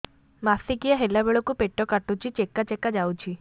ମାସିକିଆ ହେଲା ବେଳକୁ ପେଟ କାଟୁଚି ଚେକା ଚେକା ଯାଉଚି